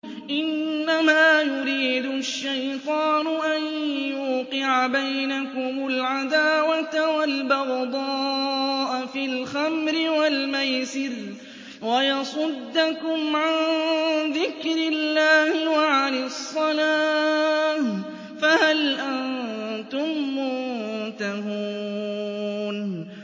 إِنَّمَا يُرِيدُ الشَّيْطَانُ أَن يُوقِعَ بَيْنَكُمُ الْعَدَاوَةَ وَالْبَغْضَاءَ فِي الْخَمْرِ وَالْمَيْسِرِ وَيَصُدَّكُمْ عَن ذِكْرِ اللَّهِ وَعَنِ الصَّلَاةِ ۖ فَهَلْ أَنتُم مُّنتَهُونَ